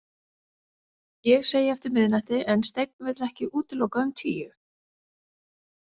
Ég segi eftir miðnætti en Steinn vill ekki útiloka um tíu.